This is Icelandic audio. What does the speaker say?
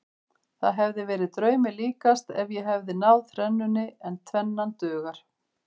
Það hefði verið draumi líkast ef ég hefði náð þrennunni en tvennan dugar.